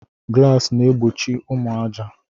Glasis na egbochi ụmụ aja.